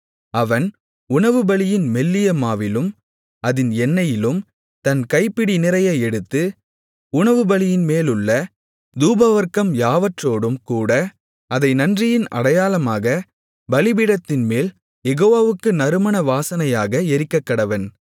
அவன் உணவுபலியின் மெல்லிய மாவிலும் அதின் எண்ணெயிலும் தன் கைப்பிடி நிறைய எடுத்து உணவுபலியின்மேலுள்ள தூபவர்க்கம் யாவற்றோடும் கூட அதை நன்றியின் அடையாளமாகப் பலிபீடத்தின்மேல் யெகோவாவுக்கு நறுமண வாசனையாக எரிக்கக்கடவன்